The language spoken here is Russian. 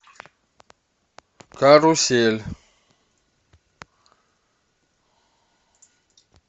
карусель